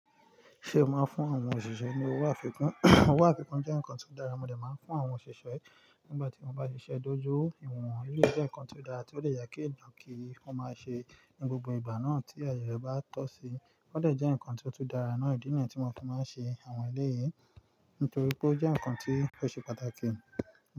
Ṣé ẹ máa ń fún àwọn òṣìṣẹ́ ní owó àfikún? Owó àfikún jẹ́ nǹkan tó dára, mo dè máa ń fún àwọn òṣìṣẹ́ nígbà tí wọ́n bá ṣiṣẹ́ dojú, ìwọ̀n-on eléyìí jẹ́ nǹkan tó dára tí ó lè yẹ kí ń dán kí wọ́n máa ṣe ní gbogbo ìgbà náà tí ẹniyẹn bá tọ́ síi. Ó dè jẹ́ nǹkan tó tún dára náà ìdí nìyẹn tí mo tún máa ń ṣe àwọn ilé yìí, nítorí pé ó jẹ́ nǹkan tí ó ṣe pàtàkì.